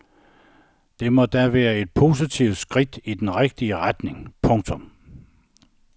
Det må da være et positivt skridt i den rigtige retning. punktum